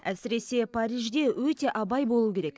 әсіресе парижде өте абай болу керек